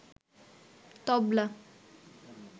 তবলা